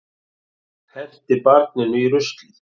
Henti barninu í ruslið